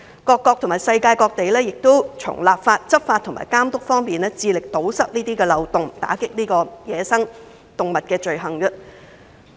各個國家和地區均從立法、執法和監督方面，致力堵塞漏洞，打擊走私野生動植物罪行。